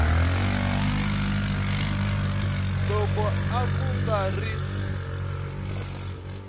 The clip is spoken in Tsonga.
loko a ku nga ri